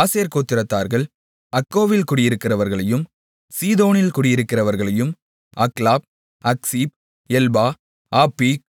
ஆசேர் கோத்திரத்தார்கள் அக்கோவில் குடியிருக்கிறவர்களையும் சீதோனில் குடியிருக்கிறவர்களையும் அக்லாப் அக்சீப் எல்பா ஆப்பீக்